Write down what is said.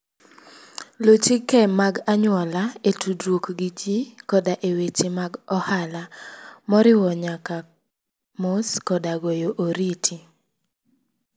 Luw chike mag anyuola e tudruok gi ji koda e weche mag ohala, moriwo nyaka mos koda goyo oriti.